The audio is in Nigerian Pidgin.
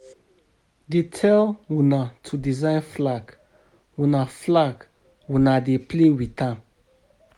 Dey tell una to design flag una flag una dey play with am